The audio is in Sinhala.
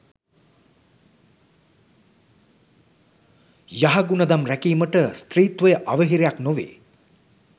යහගුණ දම් රැකීමට ස්ත්‍රීත්වය අවහිරයක් නොවේ.